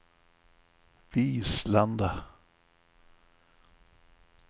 Vislanda